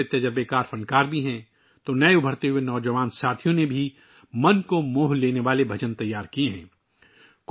اس میں بہت سے تجربہ کار فنکار ہیں اور نئے ابھرتے ہوئے نوجوان فنکاروں نے دل کو گرما دینے والے بھجن بھی ترتیب دیے ہیں